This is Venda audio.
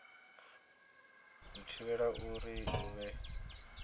u thivhela uri hu vhe